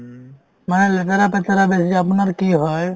মানে লেতেৰা-পেতেৰা বেছি আপোনাৰ কি হয়